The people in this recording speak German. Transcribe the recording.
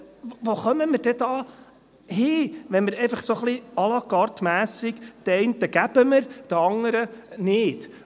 Denn wo kämen wir denn hin, wenn wir, einfach so ein wenig à-la-cartemässig, den einen geben, den anderen nicht?